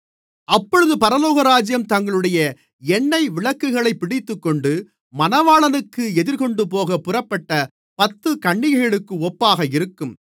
அப்பொழுது பரலோகராஜ்யம் தங்களுடைய எண்ணெய் விளக்குகளைப் பிடித்துக்கொண்டு மணவாளனுக்கு எதிர்கொண்டுபோகப் புறப்பட்ட பத்துக் கன்னிகைகளுக்கு ஒப்பாக இருக்கும்